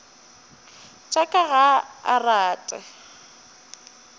tša ka ga a rate